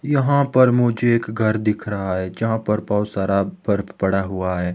यहां पर मुझे एक घर दिख रहा है जहां पर बहोत बर्फ पर पड़ा हुआ है।